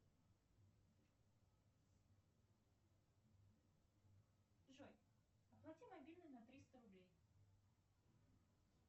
джой оплати мобильный на триста рублей